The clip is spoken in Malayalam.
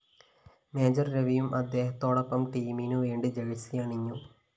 മേജർ രവിയും അദ്ദേഹത്തോടൊപ്പം ടീമിനു വേണ്ടി ജഴ്സിയണിഞ്ഞു